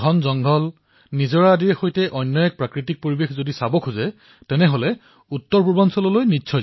প্ৰধানমন্ত্ৰীঃ ঘন জংগল ঝৰ্ণাএক অনন্য ধৰণৰ পৰিবেশ চাবলৈ মন কৰিলে মই সকলোকে উত্তৰ পূৰ্বাঞ্চললৈ নিশ্চয়কৈ যাবলৈ আহ্বান জনাম